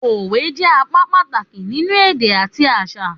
Òwe jẹ́ apá pàtàkì nínú èdè àti àṣà